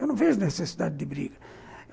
Eu não vejo necessidade de briga.